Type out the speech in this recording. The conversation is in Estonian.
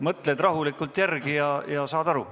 Mõtled rahulikult järele ja saad ehk aru.